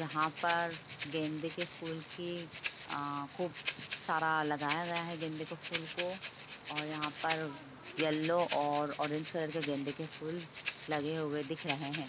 यहाँ पर गेंदे की फूल की ह खूब सारा लगाया गया है गेंदे के फूल को और यहाँ पर येलो और ओरेंज कलर की गेंदे के फूल लगे हुए दिख रहे है।